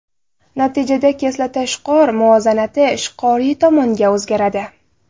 Natijada kislota-ishqor muvozanati ishqoriy tomonga o‘zgaradi.